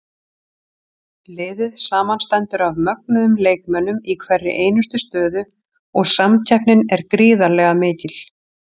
Liðið samanstendur af mögnuðum leikmönnum í hverri einustu stöðu og samkeppnin er gríðarlega mikil.